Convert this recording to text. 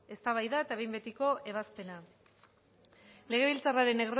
eztabaida eta behin betiko ebazpena legebiltzarraren